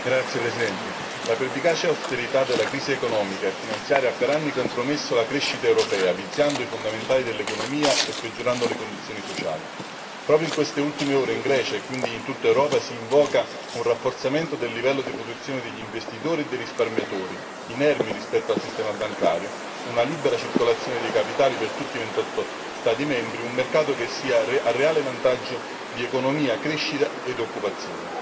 Signor Presidente, onorevoli colleghi, la pervicace austerità della crisi economica e finanziaria ha per anni compromesso la crescita europea, viziando i fondamentali dell'economia e peggiorando le condizioni sociali. Proprio in queste ultime ore in Grecia, e quindi in tutta Europa, s'invoca un rafforzamento del livello di protezione degli investitori e dei risparmiatori, inermi rispetto al sistema bancario, una libera circolazione dei capitali per tutti i 28 Stati membri, un mercato che sia a reale vantaggio di economia, crescita ed occupazione.